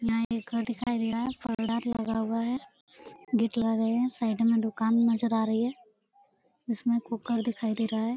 यहाँ एक घर दिखाई दे रहा है फोल्डर लगा हुआ है। गेट लगे हैं साइड में दुकान नज़र आ रही है। इसमें कुकर दिखाई दे रहा है।